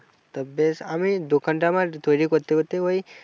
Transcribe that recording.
তো বেশ আমি দোকানটা আমার তৈরি করতে করতে ওই